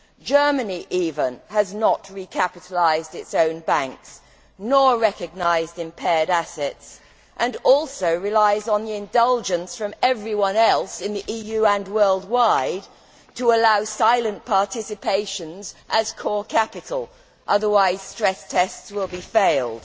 Germany, even, has not recapitalised its own banks nor recognised impaired assets and also relies on the indulgence of everyone else in the EU and worldwide to allow silent participations as core capital, otherwise stress tests will be failed.